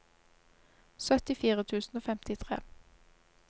syttifire tusen og femtitre